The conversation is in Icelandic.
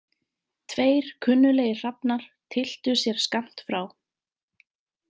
Tveir kunnuglegir hrafnar tylltu sér skammt frá.